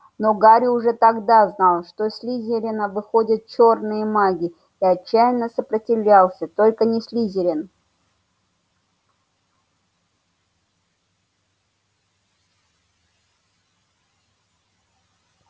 но гарри уже тогда знал что слизерина выходят чёрные маги и отчаянно сопротивлялся только не слизерин